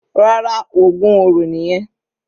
Rárá, ògún oro nìyẹn.